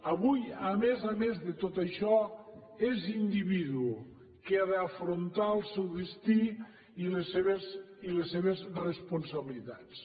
avui a més a més de tot això és individu que ha d’afrontar el seu destí i les seves responsabilitats